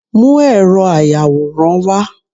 mú eró ayawóran wá